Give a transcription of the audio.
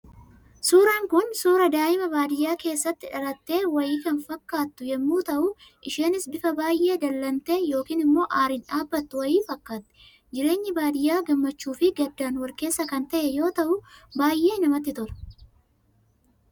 Suuraan kun, suuraa daa'ima baadiyyaa keessatti dhalattee wayii kan fakkatu yemmuu ta'u, isheenis bifa baayyee dallantee yookaan immoo aariin dhaabbattu wayii fakkaatti. Jireenyi baadiyyaa gammachuu fi gaddaan wal keessa kan ta'e yoo ta'u, baayyee namatti tola.